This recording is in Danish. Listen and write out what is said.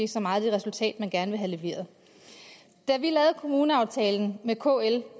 så meget det resultat den gerne ville have leveret da vi lavede kommuneaftalen med kl